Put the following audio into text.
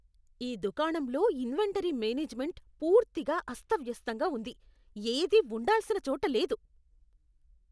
ఈ దుకాణంలో inventory management పూర్తిగా అస్తవ్యస్తంగా ఉంది. ఏదీ ఉండాల్సిన చోట లేదు.